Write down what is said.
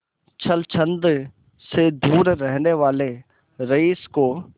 छल छंद से दूर रहने वाले रईस को